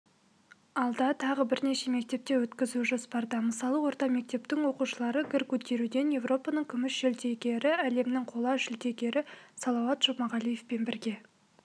алда тағы бірнеше мектепте өткізу жоспарда мысалы орта мектептің оқушылары гір көтеруден еуропаның күміс жүлдегері әлемнің қола жүлдегері салауат жұмағалиевпен бірге